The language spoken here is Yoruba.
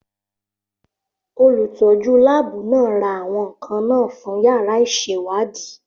Olùtọ́jú láàbù náà ra àwọn nkan náà fún yàrá ìṣèwádìí.